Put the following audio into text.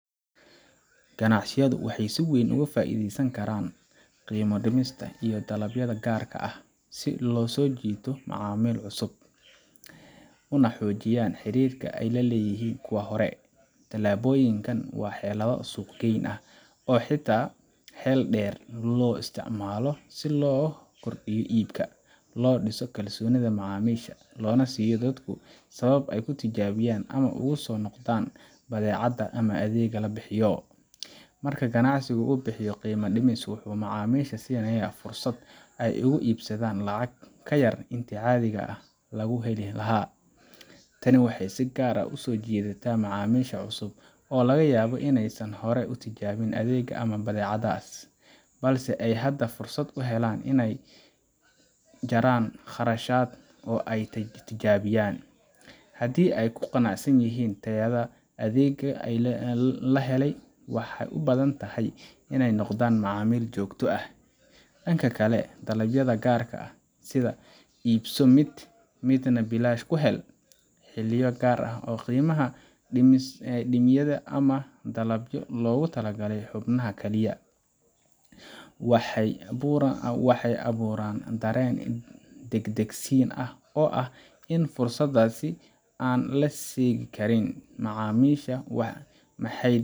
Ganacsiyadu waxay si weyn uga faa’iideysan karaan qiimo dhimisyada iyo dalaabyada gaarka ah si ay u soo jiitaan macaamiil cusub, una xoojiyaan xiriirka ay la leeyihiin kuwa hore. Tallaabooyinkan waa xeelado suuq geyn ah oo si xeel dheer loo isticmaalo si loo kordhiyo iibka, loo dhiso kalsoonida macaamiisha, loona siiyo dadku sabab ay u tijaabiyaan ama ugu soo noqdaan badeecada ama adeega la bixiyo. Marka ganacsi uu bixiyo qiimo dhimis, wuxuu macaamiisha siinayaa fursad ay wax ugu iibsadaan lacag ka yar intii caadi ahaan lagu heli lahaa. Tani waxay si gaar ah u soo jiidataa macaamiisha cusub oo laga yaabo inaysan hore u tijaabin adeegga ama badeecaddaas, balse ay hadda fursad u helaan in ay jaraan kharashka oo ay tijaabiyaan. Haddii ay ku qanacsan yihiin tayada ama adeegga la helay, waxay u badan tahay inay noqdaan macaamiil joogto ah. Dhinaca kale, dalaabyada gaarka ah sida “ibso mid, midna bilaash ku hel, xilliyo gaar ah oo qiimaha la dhimay ama “dalabyo loogu talagalay xubnaha kaliya waxay abuuraan dareen degdegsiin ah oo ah in fursaddaasi aan la seegin karin. Macaamiisha.